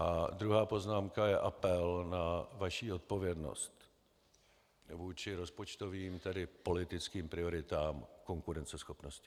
A druhá poznámka je apel na vaši odpovědnost vůči rozpočtovým, tedy politickým prioritám konkurenceschopnosti.